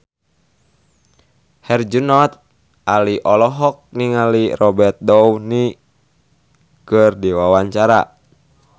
Herjunot Ali olohok ningali Robert Downey keur diwawancara